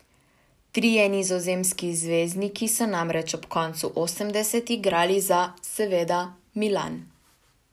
Trije nizozemski zvezdniki so namreč ob koncu osemdesetih igrali za, seveda, Milan.